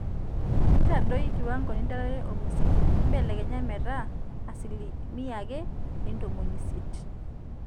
intodoi kiwango nidalare olmusiki mbelekenya metaaa asilimia ake ee intomoni isiiet